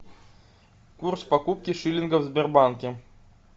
курс покупки шиллингов в сбербанке